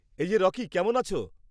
এই যে রকি, কেমন আছ?